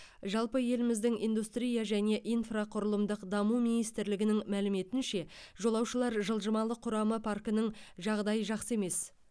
жалпы еліміздің индустрия және инфрақұрылымдық даму министрлігінің мәліметінше жолаушылар жылжымалы құрамы паркінің жағдайы жақсы емес